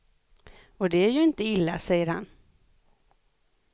Och det är ju inte illa, säger han.